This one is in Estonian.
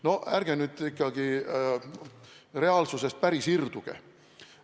Noh, ärge nüüd ikkagi reaalsusest päris irduge!